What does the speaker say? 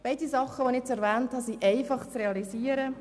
Die Dinge, die ich erwähnt habe, sind einfach zu realisieren.